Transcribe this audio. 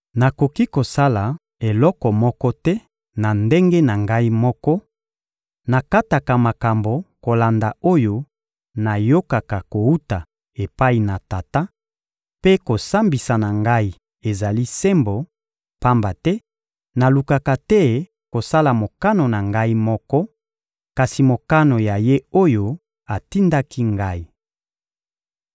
Nakoki kosala eloko moko te na ndenge na Ngai moko: nakataka makambo kolanda oyo nayokaka kowuta epai na Tata, mpe kosambisa na Ngai ezali sembo; pamba te nalukaka te kosala mokano na Ngai moko, kasi mokano ya Ye oyo atindaki Ngai.